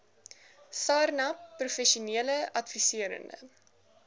sarnap professionele adviserende